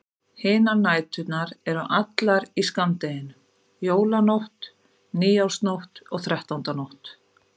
Hinar næturnar eru allar í skammdeginu: Jólanótt, nýársnótt og þrettándanótt.